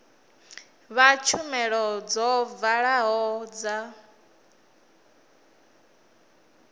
fha tshumelo dzo vhalaho dza